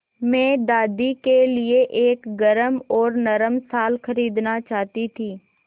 मैं दादी के लिए एक गरम और नरम शाल खरीदना चाहती थी